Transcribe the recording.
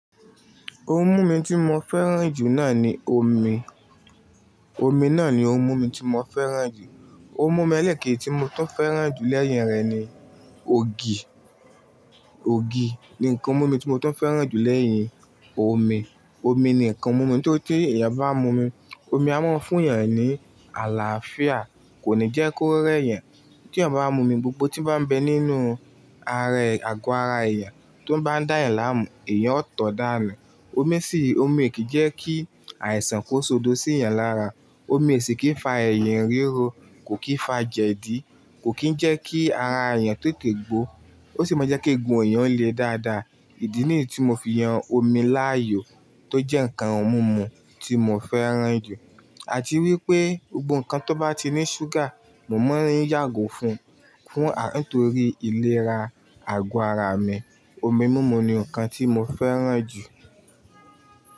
Ohun mímu tí mo fẹ́ràn jù náà ni omi. Omi náà ni ohun mímu tí mo fẹ́ràn jù. Ohun mímu elékèji tí mo tún fẹ́ràn jù lẹ́yìn rẹ̀ ni ògì. Ògì ni ǹkan ohun mímu tí mo tún fẹ́ràn jù lẹ́yìn omi. Omi ni ǹkan ohun mímu tí ó, tẹ́ èèyàn bá mu omi, omi a máa ń fún èèyàn ní àlàáfíà, kò ní jẹ́ kó rẹ́ yẹn. Tí èèyàn bá mu omi gbogbo tí bá ń bẹ nínú ààra e àgọ́ ara èèyàn tó bá ń dá yàn láàmú, èèyàn ó tọ́ dàna. Omi sì í, omi kì í jẹ́ kí àìsàn kó sọdọ́ sí èèyàn lára. Omi o sì í kì í fa ẹ̀yìn ríro, kò kí fa jẹ̀dí, kò kí ń jẹ́ kí ara èèyàn tete gbó. Ó sì máa jẹ́ kí eegun èèyàn le dáadáa. Ìdí nìyí tí mo fi yan omi láàyò tó jẹ́ ǹkan ohun mímu tí mo fẹ́ràn jù. Àti wípé gbogbo ǹkan tó bá ti ní ṣúgà, mo máa ń yàgò fún un nítorí ìlera àgọ́ ara mi. Omi mímu ni ǹkan tí mo fẹ́ràn jù.